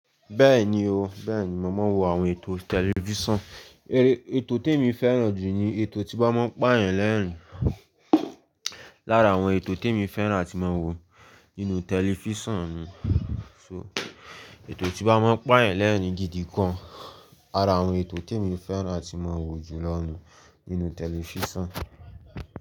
Bẹ́ẹ̀ni o, bẹ́ẹ̀ni mo máa ń wo àwọn ètò tẹlifíṣàn. Èrè, ètò t'émi fẹ́ràn jù ni ètò tí bá máa ń pààyàn lẹ́ẹ̀rín. Lára àwọn ètò tí mo fẹ́ràn àti máa ń wo nínú tẹlifísàn ni só, ètò tí wọ́n bá máa ń pààyàn lẹ́ẹ̀rín gidi gan. Ara àwọn ètò tí mo fẹ́ràn àti máa ń wo jù lọ ni nínú tẹlifísàn.